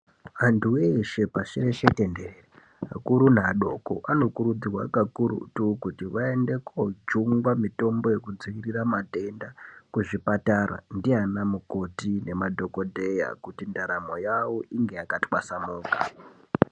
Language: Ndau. Antu weshe pashi reshe tenderere, akuru neadoko anokurudzirwa kakurutu kuti aende kojungwa mitombo yekudziirira matenda kuzvipatara ndiana mukoti ngemadhokodheya kuti ndaramo yavo inge yakatwasanuka.